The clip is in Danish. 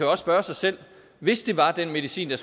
også spørge sig selv hvis det var den medicin